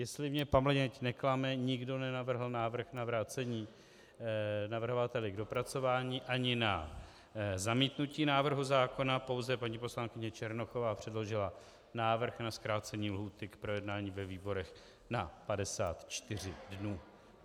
Jestli mě paměť neklame, nikdo nenavrhl návrh na vrácení navrhovateli k dopracování ani na zamítnutí návrhu zákona, pouze paní poslankyně Černochová předložila návrh na zkrácení lhůty k projednání ve výborech na 54 dnů.